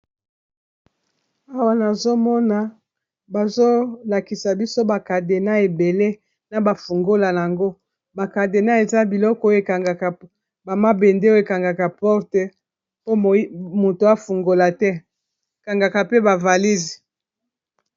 Awa nazomona bazolakisa biso bacadena ebele na bafungola yango bacadena eza biloko oyo ekangaka bamabende oyo ekangaka porte po moto afungola te ekangaka pe bavalise.